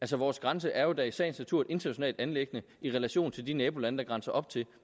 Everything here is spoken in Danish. vores grænse er jo da i sagens natur et internationalt anliggende i relation til de nabolande vi grænser op til